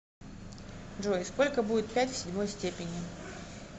джой сколько будет пять в седьмой степени